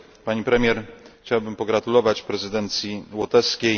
Pani Premier! Chciałbym pogratulować prezydencji łotewskiej.